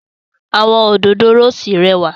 Awọn Òdòdó róòsì rẹwa